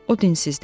O dinsizdir.